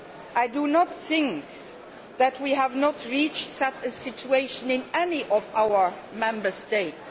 I do not think that we have reached such a situation in any of our Member States.